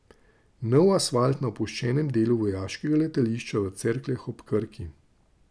Nov asfalt na opuščenem delu vojaškega letališča v Cerkljah ob Krki.